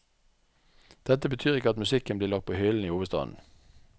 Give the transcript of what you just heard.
Dette betyr ikke at musikken blir lagt på hyllen i hovedstaden.